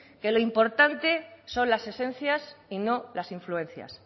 que lo importante son las esencias y no las influencias